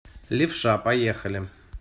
левша поехали